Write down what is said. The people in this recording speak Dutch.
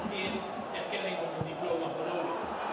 Daar is allereerst een erkenning van hun diploma voor nodig.